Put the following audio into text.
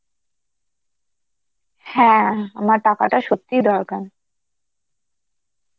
হ্যাঁ আমার টাকাটা সত্যিই দরকার.